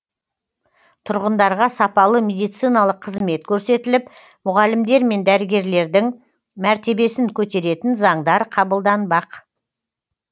тұрғындарға сапалы медициналық қызмет көрсетіліп мұғалімдер мен дәрігерлердің мәртебесін көтеретін заңдар қабылданбақ